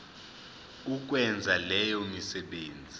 ukwenza leyo misebenzi